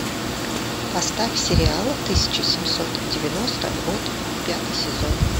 поставь сериал тысяча семьсот девяносто год пятый сезон